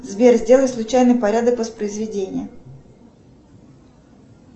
сбер сделай случайный порядок воспроизведения